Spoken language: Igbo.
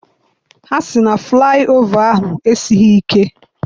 Ha sị na flaị ova ahụ esighị ike.